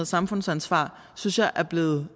samfundsansvar synes jeg er blevet